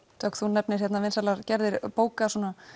Dögg þú nefnir hérna vinsælar gerðir bóka